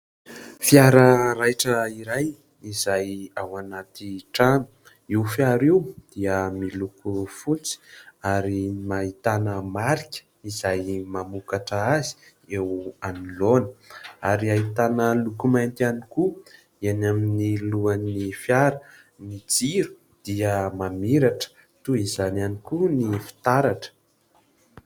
Fiara raitra iray izay ao anaty trano. Io fiara io dia miloko fotsy ary ahitana marika izay mamokatra azy eo anoloana ary ahitana loko mainty ihany koa eny amin'ny lohan'ny fiara. Ny jiro dia mamiratra, toy izany ihany koa ny fitaratra.